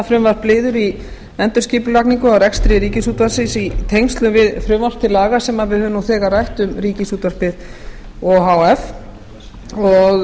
frumvarp liður í endurskipulagningu á rekstri ríkisútvarpsins í tengslum við frumvarp til laga sem við höfum nú þegar rætt ríkisútvarpið o h f og